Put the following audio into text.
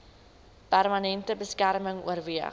permanente beskerming oorweeg